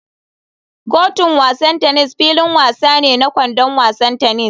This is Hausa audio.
Kotun wasan tennis filin wasa ne na [kwandon wasan tennis.